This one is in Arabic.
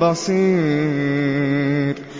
بَصِيرٌ